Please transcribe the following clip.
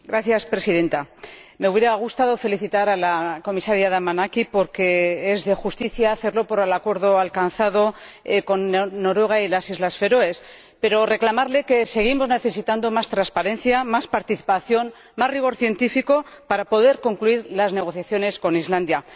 Señora Presidenta, me hubiera gustado felicitar a la Comisaria Damanaki porque es de justicia hacerlo por el acuerdo alcanzado con Noruega y las Islas Feroe, pero también señalarle que seguimos necesitando más transparencia, más participación y más rigor científico para poder concluir las negociaciones con Islandia.